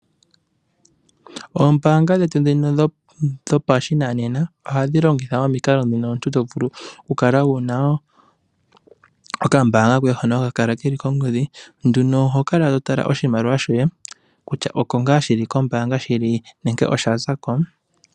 Oombaanga dhetu ndhino dhopashinanena oha dhilongitha omikalo ndhino omuntu to vulu oku kala wu na okambaanga koye hono ha kanala ke li kongodhi nduno oho kala to tala oshimaliwa shoye kutya oko ngaa shili kombaanga shili nenge osha zakon.